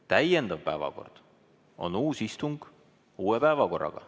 Täiendav päevakord on uus istung uue päevakorraga.